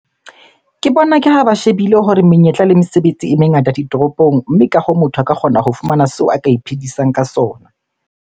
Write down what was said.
Ke bona ke ha ba shebile hore menyetla le mesebetsi e mengata ditoropong. Mme ka hoo, motho a ka kgona ho fumana seo a ka iphedisang ka sona.